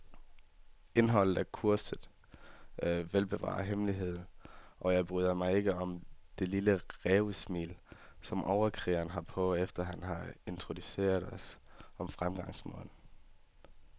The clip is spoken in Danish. Indholdet er kursets velbevarede hemmelighed, og jeg bryder mig ikke om det lille rævesmil, som overkrigeren har på, efter han har introduceret os om fremgangsmåden.